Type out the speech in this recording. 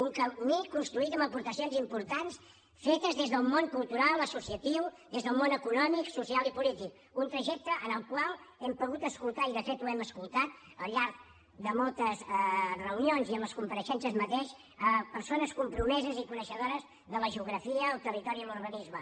un camí construït amb aportacions importants fetes des del món cultural associatiu des del món econòmic social i polític un trajecte en el qual hem pogut escoltar i de fet ho hem escoltat al llarg de moltes reunions i en les compareixences mateix persones compromeses i coneixedores de la geografia el territori i l’urbanisme